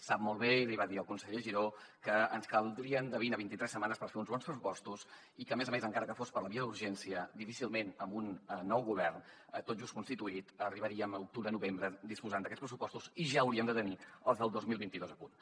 sap molt bé i l’hi va dir el conseller giró que ens caldrien de vint a vint i tres setmanes per fer uns bons pressupostos i que a més a més encara que fos per la via d’urgència difícilment amb un nou govern tot just constituït arribaríem a octubre novembre disposant d’aquests pressupostos i ja hauríem de tenir els del dos mil vint dos a punt